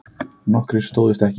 Nokkrir stóðust ekki